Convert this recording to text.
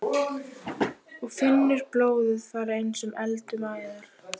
Og finnur blóðið fara eins og eld um æðarnar.